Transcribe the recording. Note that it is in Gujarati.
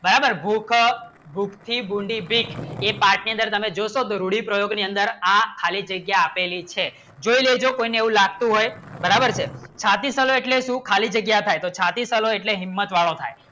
બરાબર ભૂખ ભૂક્તી બુંદી બ્રિજ એ પાટલે દર મને જો કરું પ્રયોગ ની અંદર આ ખાલી જગ્યા આપેલી છે એવું કોઈ નો હેતુ લાગતું હોય બરાબર છે છાતી એટલે શું ખાલી જગ્યા થાય છાતી એટલે હિંમત વાળો થાય